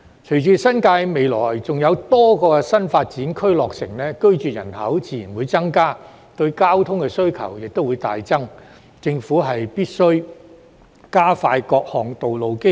隨着新界未來再有多個新發展區落成，居住人口自然會增加，對交通需求亦會大增，政府必須加快建造各項道路基建。